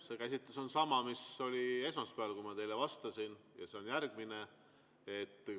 See käsitlus on sama, mis oli esmaspäeval, kui ma teile vastasin, ja see on järgmine.